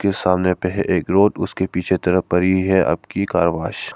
सामने पर है एक रोड उसके पीछे तरफ पढ़ी है आपकी कारावास।